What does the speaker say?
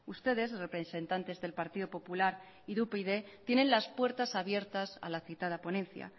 ustedes representantes del partido popular y de upyd tienen las puertas abiertas a la citada ponencia